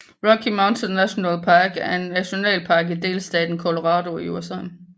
Rocky Mountain National Park er en nationalpark i delstaten Colorado i USA